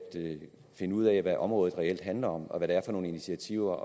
finde ud af hvad området reelt handler om og hvad det er for nogle initiativer